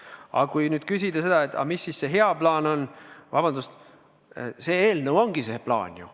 Aga kui te küsite, mis siis see hea plaan on, siis vabandust, see eelnõu ongi see plaan ju.